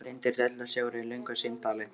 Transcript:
Nú lendir deildarstjóri í löngu símtali.